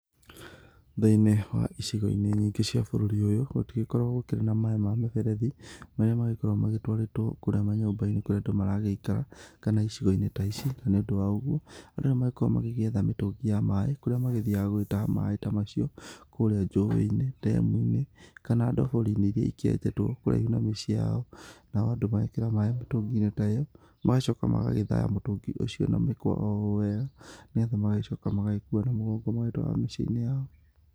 Thĩnĩ wa icigo-inĩ nyingĩ cia bũrũri ũyũ, gũtigĩkoragwo gũkĩrĩ na maaĩ ma mĩberethi marĩa magĩkoragwo matwarĩtwo kũrĩa manyũmba-inĩ kũrĩa andũ maragĩikara kana icigo-inĩ ta ici. Na nĩ ũndũ wa ũguo andũ aya magagĩkorwo magĩgĩetha mĩtungĩ ya maaĩ kũrĩa magĩthiaga gũgĩtaha maaĩ ta macio kũrĩa njũĩ-inĩ ndemu-inĩ kana ndobori-inĩ iria ikĩenjetwo kũraihu na mĩciĩ yao. Nao andũ magekĩra maaĩ mĩtũngi-inĩ ta ĩyo magacoka magagĩthaya mũtingi ũcio na mĩkwa o ũũ wega, nĩ getha magagĩcoka magagĩkua na mũgongo magagĩtwara mĩciĩ-inĩ yao.